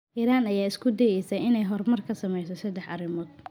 Iran ayaa isku dayaysa inay horumar ka samayso saddex arrimood.